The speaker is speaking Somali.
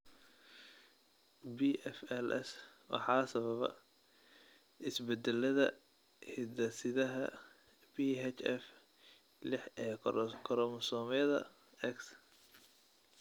BFLS waxaa sababa isbeddellada hiddasidaha PHF liix ee koromosoomyada X.